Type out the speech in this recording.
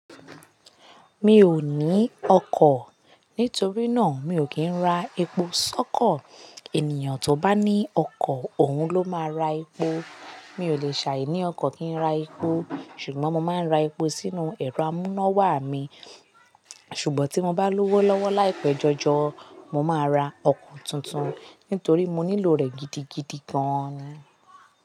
Mi ò ní ọkọ̀, nítorí náà mi ò kí ń ra epo sọ́kọ̀. Ènìyàn tó bá ní ọkọ̀ òun ló máa ń ra epo. Mi ò lè ṣàì ní ọkọ̀ kí ń ra epo, ṣùgbọ́n mo máa ń ra epo sínú ẹ̀rọ amúnáwá mi. Ṣùgbọ́n tí mo bá lówó lọ́wọ́ láìpẹ́ jọjọ, mo máa ra ọkọ̀ tuntun nítorí mo nílò rẹ̀ gidigidi gan-an.